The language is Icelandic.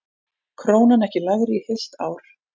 Krónan ekki lægri í heilt ár